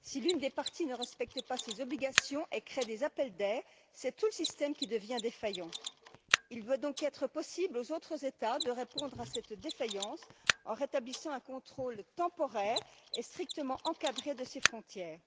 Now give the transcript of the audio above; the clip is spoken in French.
Si l'une des parties ne respecte pas ses obligations et crée des appels d'air, c'est tout le système qui devient défaillant. Il doit donc être possible aux autres États de répondre à cette défaillance en rétablissant un contrôle temporaire et strictement encadré de ses frontières.